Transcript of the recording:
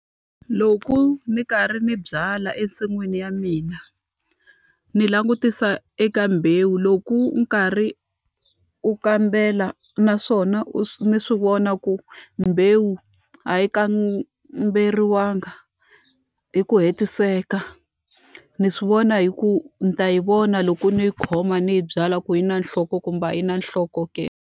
Loko ni karhi ni byala ensin'wini ya mina, ni langutisa eka mbewu loko nkarhi wo kambela naswona u ni swi vona ku mbewu a yi kamberiwangi hi ku hetiseka, ni swi vona hi ku ni ta yi vona loko ni yi khoma ni yi byala ku yi na nhloko kumbe a yi na nhloko ke.